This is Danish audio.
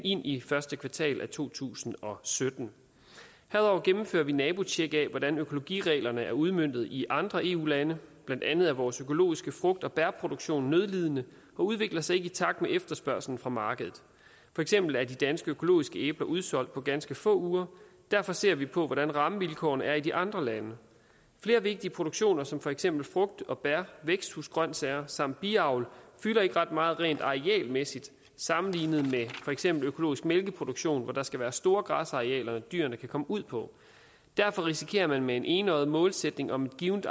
ind i første kvartal af to tusind og sytten herudover gennemfører vi nabotjek af hvordan økologireglerne er udmøntet i andre eu lande blandt andet er vores økologiske frugt og bærproduktion nødlidende og udvikler sig ikke i takt med efterspørgslen fra markedet for eksempel er de danske økologiske æbler udsolgt på ganske få uger derfor ser vi på hvordan rammevilkårene er i de andre lande flere vigtige produktioner som for eksempel frugt og bær væksthusgrønsager samt biavl fylder ikke ret meget rent arealmæssigt sammenlignet med for eksempel økologisk mælkeproduktion hvor der skal være store græsarealer som dyrene kan komme ud på derfor risikerer man med en enøjet målsætning om et givent